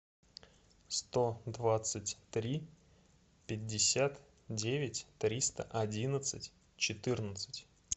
сто двадцать три пятьдесят девять триста одиннадцать четырнадцать